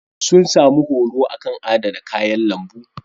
Sun sami horo a kan adana kayan lambu.